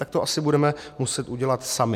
Tak to asi budeme muset udělat sami.